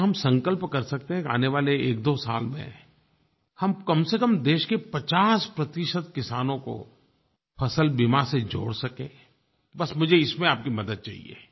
क्या हम संकल्प कर सकते हैं कि आने वाले एकदो साल में हम कम से कम देश के 50 प्रतिशत किसानों को फ़सल बीमा से जोड़ सकें बस मुझे इसमें आपकी मदद चाहिये